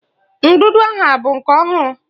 Ndụdụ ahụ abụ nke ọhụrụ?